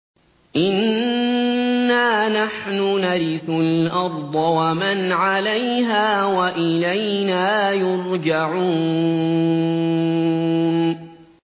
إِنَّا نَحْنُ نَرِثُ الْأَرْضَ وَمَنْ عَلَيْهَا وَإِلَيْنَا يُرْجَعُونَ